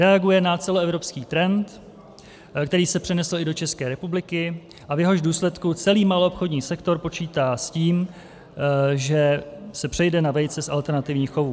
Reaguje na celoevropský trend, který se přenesl i do České republiky a v jehož důsledku celý maloobchodní sektor počítá s tím, že se přejde na vejce z alternativních chovů.